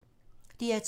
DR2